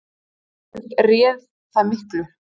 Vitaskuld réð það miklu.